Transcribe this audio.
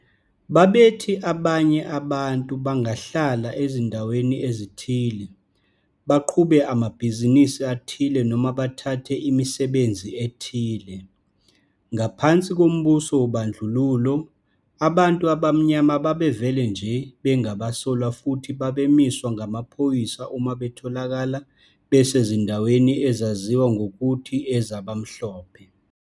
Babethi abanye abantu bangahlala ezindaweni ezithile, baqhube amabhizinisi athile noma bathathe imisebenzi ethile. Ngaphansi kombuso wobandlululo, abantu abamnyama babevele nje bengabasolwa futhi babemiswa ngamaphoyisa uma betholakala besezindaweni ezaziwa ngokuthi ezabamhlophe.